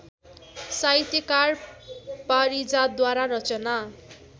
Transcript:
साहित्यकार पारिजातद्वारा रचना